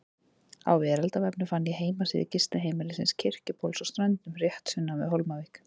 Á veraldarvefnum fann ég heimasíðu gistiheimilisins Kirkjubóls á Ströndum, rétt sunnan við Hólmavík.